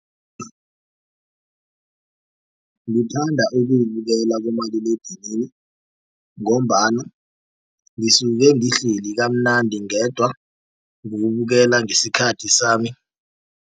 Ngithanda ukuwubukela kumaliledinini ngombana ngisuke ngihleli kamnandi ngedwa ngiwukubukela ngesikhathi sami.